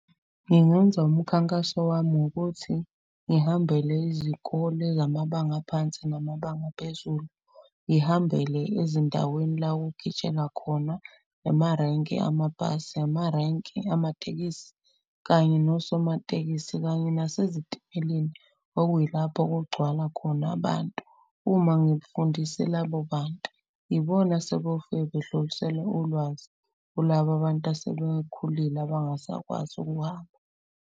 Ngingenza umkhankaso wami ngokuthi ngihambele izikole zamabanga aphansi namabanga aphezulu. Ngihambele ezindaweni la kugitshelwa khona emarenki amabhasi, amarenki amatekisi kanye nosomatekisi. Kanye nasezitimeleni okuyilapho okugcwala khona abantu. Uma ngikufundise labo bantu, ibona asebeyofike bedlulisele ulwazi. Kulaba abantu asebekhulile abangasakwazi ukuhamba.